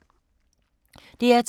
DR2